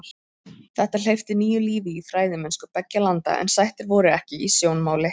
Þetta hleypti nýju lífi í fræðimennsku beggja landa en sættir voru ekki í sjónmáli.